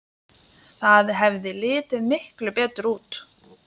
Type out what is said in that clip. Það hefði litið miklu betur út.